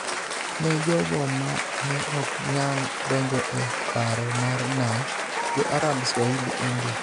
ne jogo ma ne ok nyal donjo e paro mar Nam Jo-Arab-Swahili-India